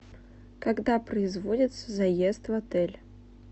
когда производится заезд в отель